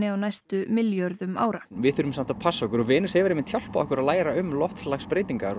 á næstu milljörðum ára við þurfum samt að passa okkur og Venus hefur einmitt hjálpað okkur að læra um loftslagsbreytingar